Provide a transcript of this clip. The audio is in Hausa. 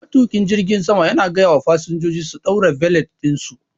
Matuƙin jirgin Ya gayawa fasinjojin su ɗaura belet ɗinsu.